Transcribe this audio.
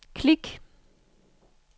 klik